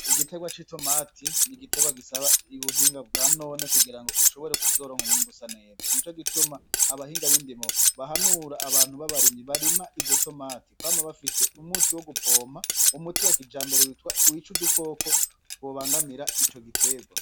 Igiterwa c'itomati ni igiterwa gisaba ubuhinga bwanone kugira ngo ushobore kuzoronka umwimbu usa neza, nico gituma abahinga bindimo bahanura abantu babarimyi barima izo tomati kwama bafise umuti wo gupompa, umuti wa kijambere wica udukoko twobangamira ico giterwa.